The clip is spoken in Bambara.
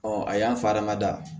a y'an fa hadamada